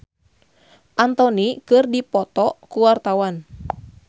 Mang Koko jeung Marc Anthony keur dipoto ku wartawan